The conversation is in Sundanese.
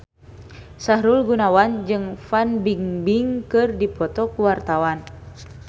Sahrul Gunawan jeung Fan Bingbing keur dipoto ku wartawan